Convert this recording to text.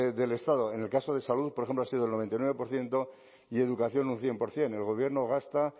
del estado en el caso de salud por ejemplo ha sido el noventa y nueve por ciento y educación un cien por ciento el gobierno gasta